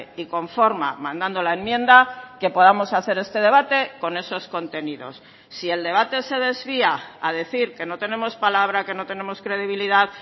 y con forma mandando la enmienda que podamos hacer este debate con esos contenidos si el debate se desvía a decir que no tenemos palabra que no tenemos credibilidad